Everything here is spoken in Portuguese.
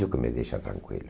Isso que me deixa tranquilo.